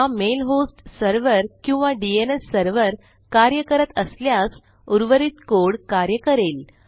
हा mail host server किंवा DNS server कार्य करत असल्यास उर्वरित कोड कार्य करेल